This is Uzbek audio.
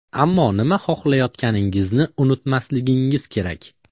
Ammo nima xohlayotganingizni unutmasligingiz kerak.